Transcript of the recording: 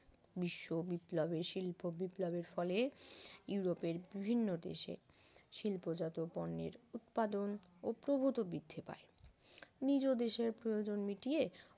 বিশ্ব বিপ্লবে শিল্প বিপ্লবের ফলে ইউরোপের বিভিন্ন দেশে শিল্প জাতীয় পণ্যের উৎপাদন ও প্রভূত বৃদ্ধি পায় নিজ দেশের প্রয়োজন মিটিয়ে